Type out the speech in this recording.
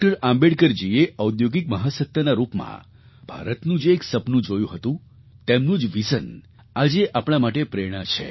આંબેડકરજીએ ઔદ્યોગિક મહાસત્તાના રૂપમાં ભારતનું જે એક સપનું જોયું હતું તેમનું જ વિઝન આજે આપણા માટે પ્રેરણા છે